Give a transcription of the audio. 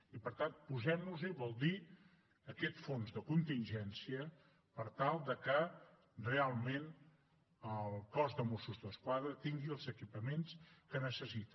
i per tant posem nos hi vol dir aquest fons de contingència per tal que realment el cos de mossos d’esquadra tingui els equipaments que necessita